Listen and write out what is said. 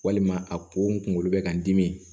Walima a ko n kunkolo bɛ ka n dimi